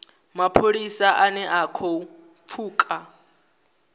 mapholisa ane a khou pfuka